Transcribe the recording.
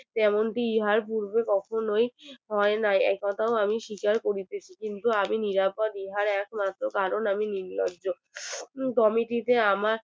তেমন টি ইহার উড়বে কোকননোই হয়নাই একথাও আমি স্বীকার করিতেছি কিন্তু আগে নিরাপদ ইহার একমাত্র কারণ আমি নীলজ comity তে আমার